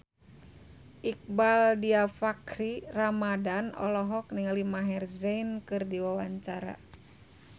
Iqbaal Dhiafakhri Ramadhan olohok ningali Maher Zein keur diwawancara